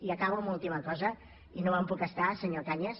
i acabo amb una última cosa i no me’n puc estar senyor cañas